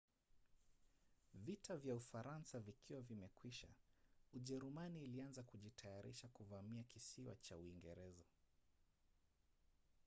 vita kwa ufaransa vikiwa vimekwisha ujerumani ilianza kujitayarisha kuvamia kisiwa cha uingereza